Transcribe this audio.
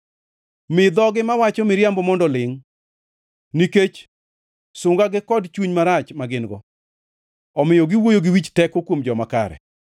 Mi dhogi mawacho miriambo mondo olingʼ; nikech sungagi kod chuny marach ma gin-go, omiyo giwuoyo gi wich teko kuom joma kare.